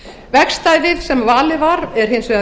vegstæðið sem valið var er hins vegar